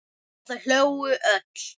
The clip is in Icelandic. Og þau hlógu öll.